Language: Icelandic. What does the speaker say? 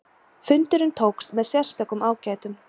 Fundurinn tókst með sérstökum ágætum.